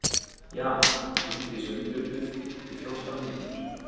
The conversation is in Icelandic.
Jan, hringdu í Sveinbirnu eftir fjórtán mínútur.